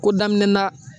Ko daminɛ na